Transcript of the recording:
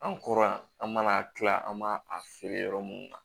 An kɔrɔ yan an mana kila an b'a a feere yɔrɔ munnu na